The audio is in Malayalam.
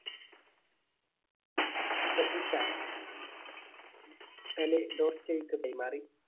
ശ്രദ്ധിച്ച പെലെ ഡോസ്റ്റോയക്ക് കൈമാറി.